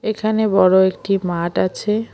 এখানে বড় একটি মাঠ আছে।